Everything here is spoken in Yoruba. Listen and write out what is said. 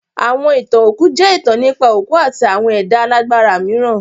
Àwọn ìtàn òkú jẹ́ ìtàn nípa òkú àti àwọn ẹ̀dá alágbára mìíràn.